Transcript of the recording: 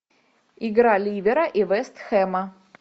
игра ливера и вест хэма